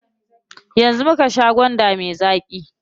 Yanzu muka sha gwanda me zaƙi.